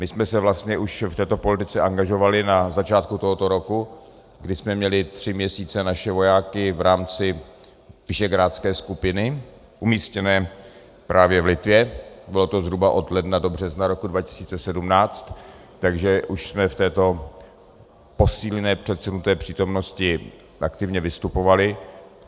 My jsme se vlastně už v této politice angažovali na začátku tohoto roku, kdy jsme měli tři měsíce naše vojáky v rámci Visegrádské skupiny umístěné právě v Litvě, bylo to zhruba od ledna do března roku 2017, takže už jsme v této posílené předsunuté přítomnosti aktivně vystupovali.